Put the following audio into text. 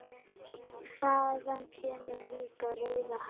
Þaðan kemur líklega rauða hárið.